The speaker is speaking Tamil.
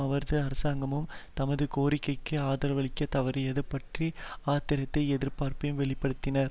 அவரது அரசாங்கமும் தமது கோரிக்கைகளுக்கு ஆதரவளிக்கத் தவறியதையும் பற்றி ஆத்திரத்தையும் எதிர்ப்பையும் வெளி படுத்தின